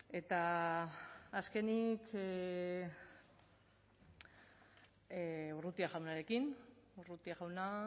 eta azkenik urrutia jaunarekin urrutia jauna